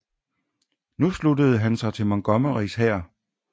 Nu sluttede han sig til Montgomerys hær